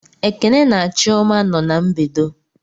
Ekene na chioma no na-mbedo